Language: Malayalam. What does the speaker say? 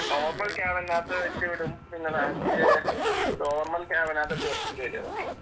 നോർമൽ ക്യാബിനകത്ത് വെച്ചുവിടും. പിന്നെ ലാസ്റ്റ് നോർമൽ ക്യാബിനകത്തോട്ട് വെക്കേണ്ടിവരും അത്.